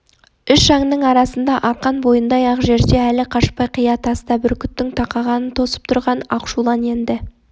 үш аңының арасында арқан бойындай-ақ жерде әлі қашпай қия таста бүркіттің тақағанын тосып тұрған ақшулан енді